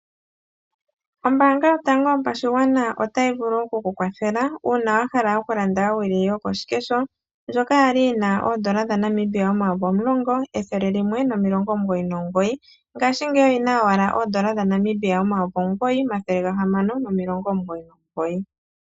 Ombaanga yotango yopashigwana otayi vulu oku kwathele uuna wahala okulanda owili yokoshikesho ndjoka yali yina oondola dhaNamibia omayovi omulongo ethele limwe nomilongo omugoyi nomugoyi ngaashi ngeyi owala oondola dhaNamibia omayovi omugoyi omathele gahamano nomilongo omugoyi nomugoyi.